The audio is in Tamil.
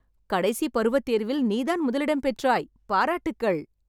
கடைசி பருவத்தேர்வில் நீதான் முதலிடம் பெற்றாய். பாராட்டுக்கள்